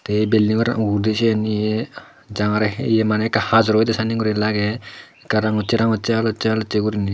eh building oor ude jiyen ye jangare heye mane eka hajor oyede sane guri lage de rangche rangche haloche haloche gurine.